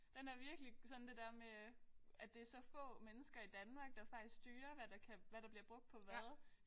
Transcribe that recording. Den er virkelig sådan det der med at det så få mennesker i Danmark der faktisk styrer hvad der kan hvad der bliver brugt på hvad